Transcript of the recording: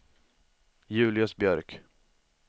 Julius Björk